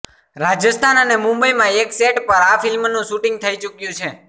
રાજસ્થાન અને મુંબઈમાં એક સેટ પર આ ફિલ્મનું શૂટિંગ થઈ ચૂક્યું છે